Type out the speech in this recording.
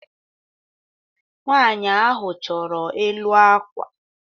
Nwaanyị ahụ chọrọ elu akwa